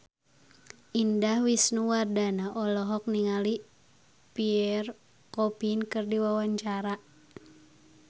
Indah Wisnuwardana olohok ningali Pierre Coffin keur diwawancara